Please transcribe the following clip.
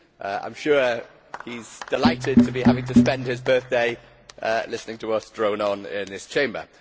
I am sure he is delighted to be having to spend his birthday listening to us drone on in this Chamber.